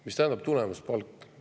Mida tähendab tulemuspalk?